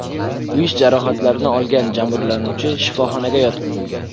Kuyish jarohatlarini olgan jabrlanuvchi shifoxonaga yotqizilgan.